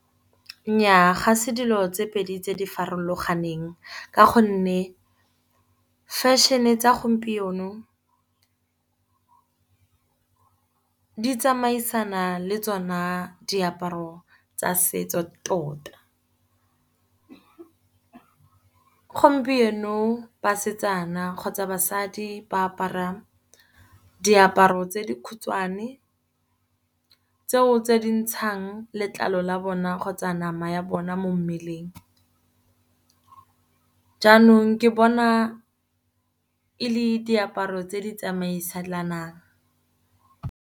Nnyaa, ga se dilo tse pedi tse di farologaneng. Ka gonne fashion-e tsa gompieno tsamaisana le tsona diaparo tsa setso tota. Gompieno basetsana kgotsa basadi ba apara diaparo tse di khutshwane, tseo tse dintshang letlalo la bona kgotsa nama ya bona mo mmeleng. Jaanong ke bona e le diaparo tse di tsamaisanang.